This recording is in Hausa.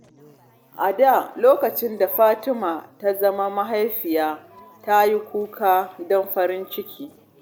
A da, lokacin da Fatima ta zama mahaifiya, ta yi kuka don farin ciki.